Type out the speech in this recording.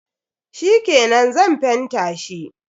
Shikenan, Zan fenta shi.